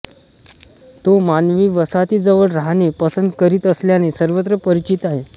तो मानवी वसाहतीजवळ राहणे पसंत करीत असल्याने सर्वत्र परिचित आहे